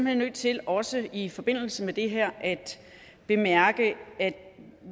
hen nødt til også i forbindelse med det her at bemærke at